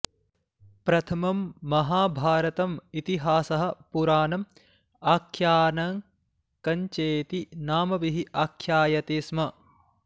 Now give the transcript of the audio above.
प्रथमं महाभारतम् इतिहासः पुराणम् आख्यानकञ्चेति नामभिः आख्यायते स्म